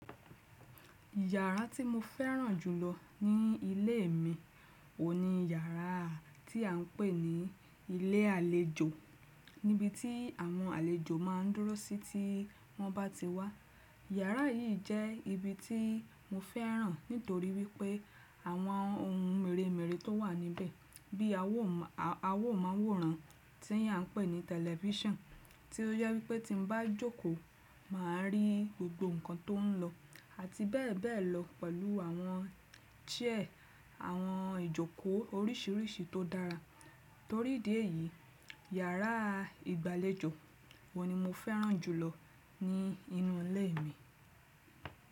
Yàrá tí mo fẹ́ràn jùlọ ní ilé mi o ni yàrá tí à n pè ní ilé àlejò, níbi tí àwọn àlejò ma ń dúró sí tí wọ́n bá ti wá. Yàrá yìí jẹ́ ibi tí mo fẹ́ràn nítorí wípé àwọn ohun mèremère tó wà níbẹ̀ bí i awo amóhùnran tí a n pè ní tẹlifísàn, tí ó jẹ wípé tí mo bá jókòó, mà a rí gbogbo nǹkan tó ń lọ àti bẹ́ẹ̀ bẹ́ẹ̀ lọ pẹ̀lú àwọn chair, àwọn ìjókòó oríṣiríṣi tó dára. Torí ìdí èyí, yàrá ìgbàlejò o ni mo fẹ́ràn jùlọ ní inú ilé mi.